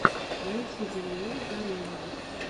найти даниэлу гарееву